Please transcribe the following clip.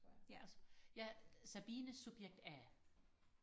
ja ja Sabine subjekt a